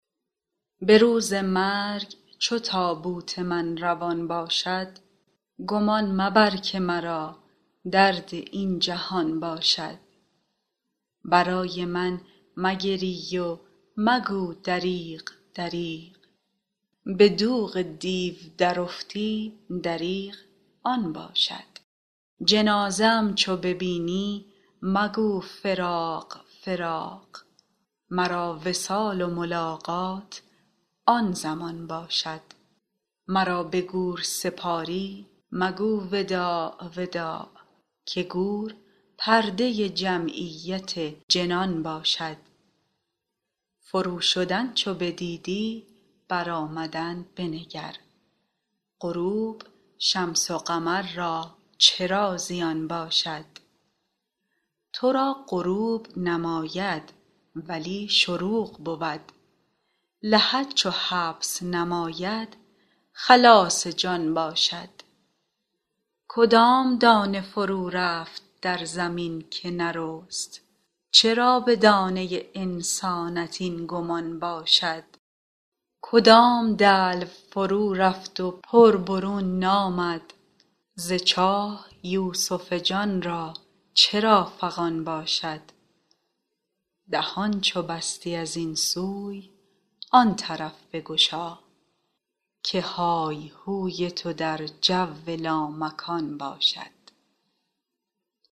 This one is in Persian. به روز مرگ چو تابوت من روان باشد گمان مبر که مرا درد این جهان باشد برای من مگری و مگو دریغ دریغ به دوغ دیو درافتی دریغ آن باشد جنازه ام چو ببینی مگو فراق فراق مرا وصال و ملاقات آن زمان باشد مرا به گور سپاری مگو وداع وداع که گور پرده جمعیت جنان باشد فروشدن چو بدیدی برآمدن بنگر غروب شمس و قمر را چرا زیان باشد تو را غروب نماید ولی شروق بود لحد چو حبس نماید خلاص جان باشد کدام دانه فرورفت در زمین که نرست چرا به دانه انسانت این گمان باشد کدام دلو فرورفت و پر برون نامد ز چاه یوسف جان را چرا فغان باشد دهان چو بستی از این سوی آن طرف بگشا که های هوی تو در جو لامکان باشد